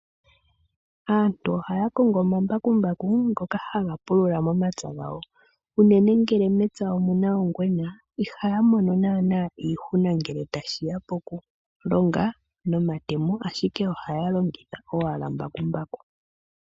Aantu ohaya kongo omambakumbaku ngoka haga pulula momapya gawo. Unene ngele mepya omuna ongwena ohaya mono iihuna ngele tashiya poku longa nomatemo ashike ohaya longitha owala mbakumbaku.